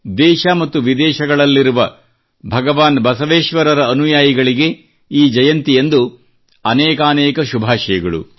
ದೇಶ ಮತ್ತು ವಿದೇಶಗಳಲ್ಲಿರುವ ಭಗವಾನ್ ಬಸವೇಶ್ವರರ ಅನುಯಾಯಿಗಳಿಗೆ ಈ ಜಯಂತಿಯಂದು ಅನೇಕಾನೇಕ ಶುಭಾಶಯಗಳು